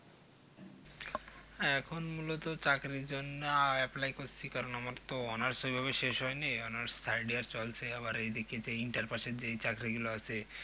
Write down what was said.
এখন মূলত চাকরির জন্য apply আহ করছি কারণ আমার তো honours ওই ভাবে শেষ হয় নি honours side এ চলছে আবার এই দিকে যে inter pass এর যে চাকরি গুলো আছে